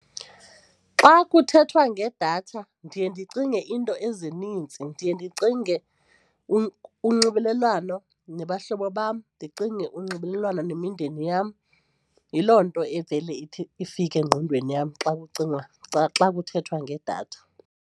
Xa kuthethwa ngedatha ndiye ndicinge iinto ezinintsi, ndiye ndicinge unxibelelwano nabahlobo bam, ndicinge unxibelelwano nemindeni yam. Yiloo nto evele ithi ifike engqondweni yam xa kucingwa xa kuthethwa ngedatha.